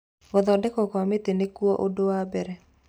Gũthondekwo kwa mĩtĩ nĩkuo ũndũ wa mbere